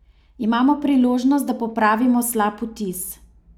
Imamo priložnost, da popravimo slab vtis.